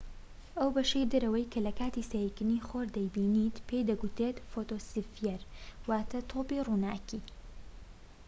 ئەو بەشەی دەرەوەی کە لە کاتی سەیرکردنی خۆر دەیبینین پێی دەگوترێت فۆتۆسفیەر، واتە"تۆپی ڕووناکى